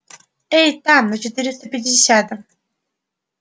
эй там на четыреста пятидесятом